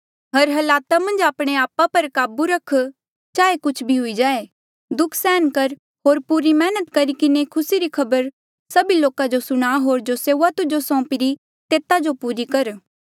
हर हालात मन्झ आपणे आपा पर काबू रख चाहे कुछ भी हुई जाये दुःख सहन कर होर पूरी मेहनत करी किन्हें खुसी री खबर सभी लोका जो सुणा होर जो सेऊआ तुजो सौंपी री तेता जो पूरी कर